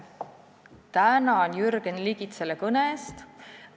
Tänan Jürgen Ligit selle kõne eest!